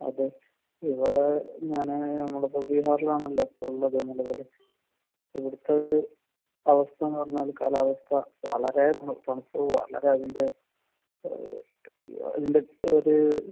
അതെ? ഇവിടെ ഞാൻ അങ്ങനെ ഇവിടുത്തെയൊരു അവസ്ഥയെന്ന് പറഞ്ഞാൽ വളരെ